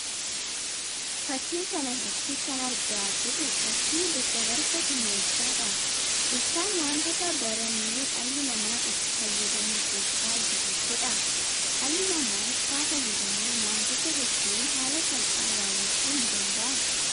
Fakki kanarratti kan argaa jirru fakkii daddabarsa humna ibsaadha. Ibsaan wantoota baranee dhalli namaa itti fayyadamu keessaa isa tokko. Dhalli namaa ibsaa fayyadamuun wantoota hedduu haala salphaan raawwachuu ni danda'a.